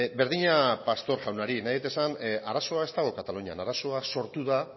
berdina pastor jaunari nahi dut esan arazoa ez dago katalunian arazoa sortu da